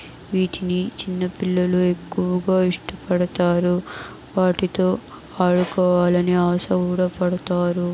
వీటిని చిన్నపిల్లలు ఎక్కువగా ఇష్టపడతారు. వాటితో ఆడుకోవాలని ఆశ కూడా పడతారు.